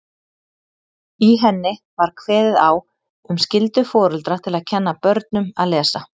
Í henni var kveðið á um skyldu foreldra til að kenna börnum að lesa.